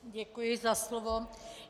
Děkuji za slovo.